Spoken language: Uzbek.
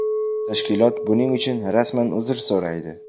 Tashkilot buning uchun rasman uzr so‘raydi.